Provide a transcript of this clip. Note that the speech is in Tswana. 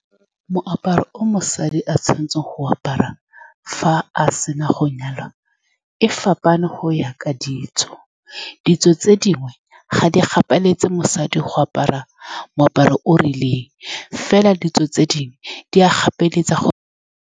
Moaparo o mosadi a tshwanetseng go o apara fa a se na go nyalwa go fapana, go ya ka ditso. Ditso tse dingwe ga di gapeletse mosadi go apara moaparo o o rileng, fela ditso tse dingwe di a gapeletsega go.